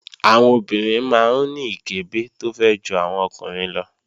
Àwọn obìnrin máa ń ní ìkẹ́bẹ̀ tó fẹ̀ ju àwọn ọkùnrin lọ